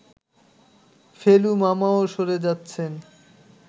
ফেলু মামাও সরে যাচ্ছেন